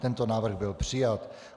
Tento návrh byl přijat.